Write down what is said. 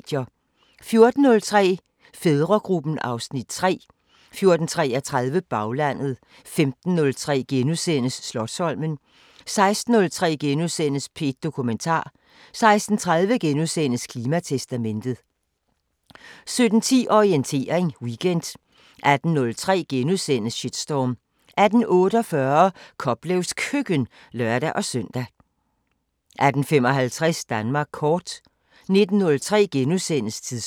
14:03: Fædregruppen (Afs. 3) 14:33: Baglandet 15:03: Slotsholmen * 16:03: P1 Dokumentar * 16:30: Klimatestamentet * 17:10: Orientering Weekend 18:03: Shitstorm * 18:48: Koplevs Køkken (lør-søn) 18:55: Danmark kort 19:03: Tidsånd *